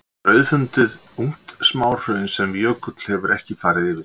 Þar er auðfundið ungt smáhraun sem jökull hefur ekki farið yfir.